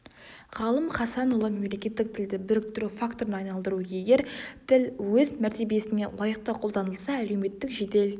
ғалым хасанұлы мемлекеттік тілді біріктіру факторына айналдыру егер тіл өз мәртебесіне лайықты қолданылса әлеуметтік жедел